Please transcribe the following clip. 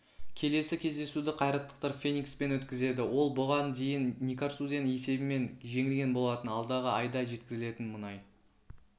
келесі кездесуді қайраттықтар феникспен өткізеді ол бұған дейін никарсуден есебімен жеңілген болатын алдағы айда жеткізілетін мұнай